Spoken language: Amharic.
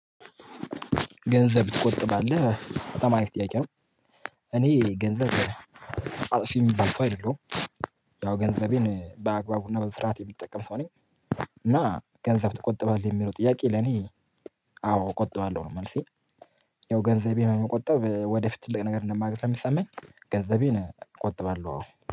ገንዘብ ትቆጥባለህ በጣም አሪፍ ጥያቄ ነው? እኔ ገንዘብ አጥፊ የሚባል ሰው አይደለሁም። ያው ገንዘቤን በአግባቡና በስርዓት የምትጠቀም ሰው ነኝ። እና ገንዘብ ትቆጥባለህ የሚለው ጥያቄ ለኔ አዎ እቆጥባለሁ ነው። መልሴ። ያው ገንዘቤን መቆጠብ ወደፊት ትልቅ ነገር እንደማገኝ ሰለሚሰማኝ ገንዘቤን እቆጥባለሁ አዎ